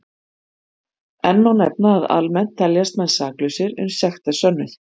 Enn má nefna að almennt teljast menn saklausir uns sekt er sönnuð.